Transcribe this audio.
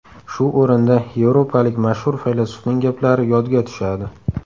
Shu o‘rinda yevropalik mashhur faylasufning gaplari yodga tushadi.